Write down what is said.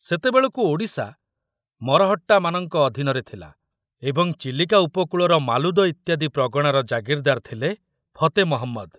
ସେତେବେଳକୁ ଓଡ଼ିଶା ମରହଟ୍ଟାମାନଙ୍କ ଅଧୀନରେ ଥିଲା ଏବଂ ଚିଲିକା ଉପକୂଳର ମାଲୁଦ ଇତ୍ୟାଦି ପ୍ରଗଣାର ଜାଗିରଦାର ଥିଲେ ଫତେ ମହମ୍ମଦ।